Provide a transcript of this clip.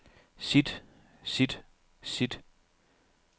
sit sit sit